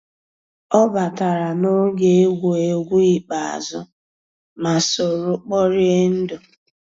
ọ batàrà n'ògé égwuégwu ikpéázụ́, má sòró kpòríé ndù.